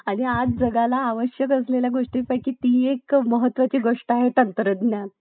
अंदमान आणि निकोबार ही बंगालच्या उपसागरातील भारतीय बेटे आहेत. तसेच लक्षद्वीप हा भारतातील बेटांचा समूह